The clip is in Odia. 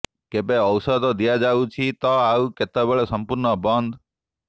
କେବେ ଔଷଧ ଦିଆଯାଉଛି ତ ଆଉ କେତେବେଳେ ସଂପୂର୍ଣ୍ଣ ବନ୍ଦ